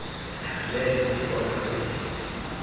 thande kwisofa yodidi